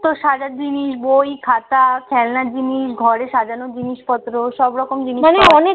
তোর সাজার জিনিস, বই - খাতা, খেলনার জিনিস, ঘরে সাজানোর জিনিসপত্র সবরকম জিনিসপত্র